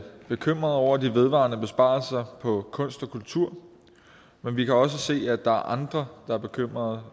bekymrede over de vedvarende besparelser på kunst og kultur men vi kan også se at der er andre der er bekymrede